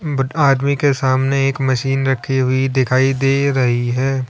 But आदमी के सामने एक मशीन रखी हुई दिखाई दे रही है।